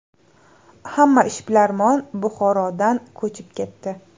Hamma ishbilarmon Buxorodan ko‘chib ketdi.